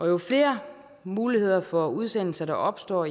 jo flere muligheder for udsendelse der opstår